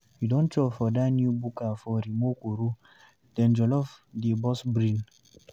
You don chop for dat new buka for Rumuokoro? Dem jollof dey burst brain!